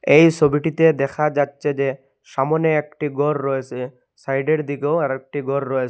এই ছবিটিতে দেখা যাচ্ছে যে সামোনে একটি ঘর রয়েসে সাইডের দিকেও আরেকটি ঘর রয়েস--